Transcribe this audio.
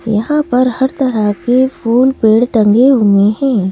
यहाँ पर हर तरह के फूल पेड़ टंगे हुए हैं ।